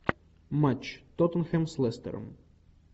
матч тоттенхэм с лестером